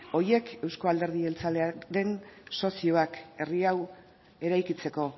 horiek eusko alderdi jeltzalearen sozioak herri hau eraikitzeko